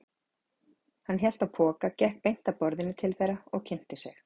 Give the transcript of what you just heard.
Hann hélt á poka, gekk beint að borðinu til þeirra og kynnti sig.